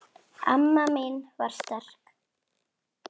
Amma mín var sterk.